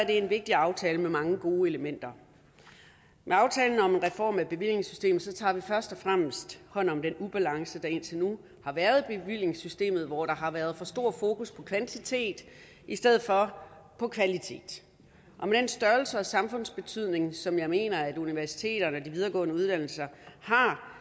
en vigtig aftale med mange gode elementer med aftalen om en reform af bevillingssystemet tager vi først og fremmest hånd om den ubalance der indtil nu har været i bevillingssystemet hvor der har været for stort fokus på kvantitet i stedet for på kvalitet og med den størrelse og samfundsbetydning som jeg mener at universiteterne og de videregående uddannelser har